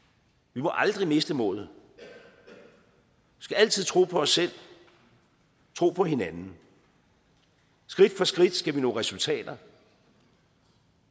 vi må aldrig miste modet vi skal altid tro på os selv tro på hinanden skridt for skridt skal vi nå resultater